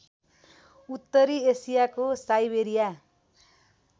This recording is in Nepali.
उत्तरी एसियाको साइबेरिया